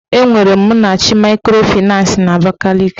Enwere Ụmụnnachi maịkrofịnans banki n'Abakaliki.